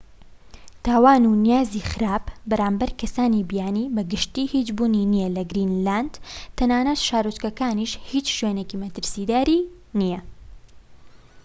تاوان و نیازی خراپ بەرامبەر کەسانی بیانی بە گشتی هیچ بوونی نیە لە گرینلاند. تەنانەت شارۆچکەکانیش هیچ شوێنێکی مەترسیدار"ی نیە